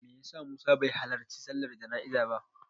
Me ya sa Musa bai halarci sallar jana'izar ba?